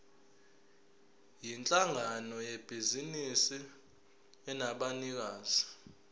yinhlangano yebhizinisi enabanikazi